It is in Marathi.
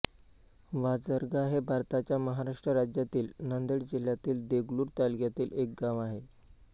वाझरगा हे भारताच्या महाराष्ट्र राज्यातील नांदेड जिल्ह्यातील देगलूर तालुक्यातील एक गाव आहे